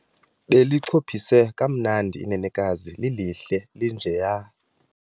Belichophise kamnandi inenekazi, lilihle linjeya.